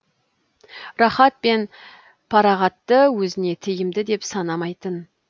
рақат пен парағатты өзіне тиімді деп санамайтын